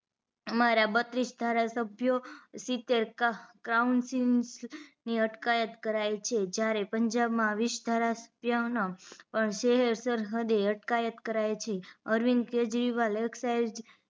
અમારા બત્રીસ ધારાસભ્યો સિતેર કાઉન્સિસ ની અટકાયત કરાઇ છે જયારે પંજાબ માં વીસ ધારાસભ્યોની સેરસરહદે અટકાયત કરાઇ છે અરવિંદ કેજરીવાલ એક્સાઇસ